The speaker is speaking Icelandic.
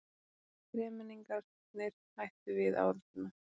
Þremenningarnir hættu við árásina.